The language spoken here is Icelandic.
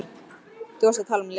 Þú varst að tala um Lenu.